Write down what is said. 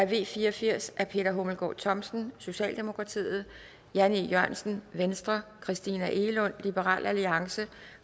v fire og firs af peter hummelgaard thomsen jan e jørgensen christina egelund